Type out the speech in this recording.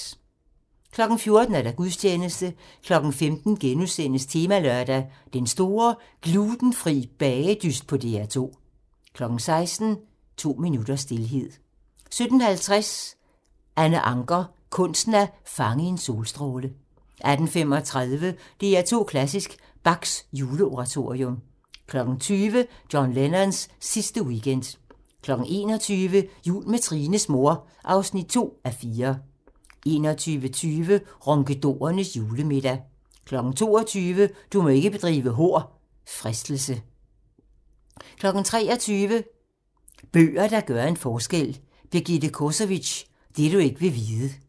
14:00: Gudstjeneste 15:00: Temalørdag: Den store glutenfri bagedyst på DR2 * 16:00: To minutters stilhed 17:50: Anna Ancher - kunsten at fange en solstråle 18:35: DR2 Klassisk: Bachs Juleoratorium 20:00: John Lennons sidste weekend 21:00: Jul med Trines mor (2:4) 21:20: Ronkedorernes julemiddag 22:00: Du må ikke bedrive hor - Fristelse 23:00: Bøger, der gør en forskel: Birgithe Kosovics "Det du ikke vil vide"